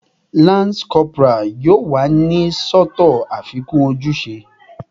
Lance corporal yoo wa ni sọtọ afikun ojuse